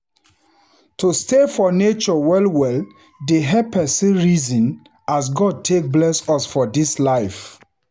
To stay for nature well-well dey help pesin reason as God take bless us for dis life.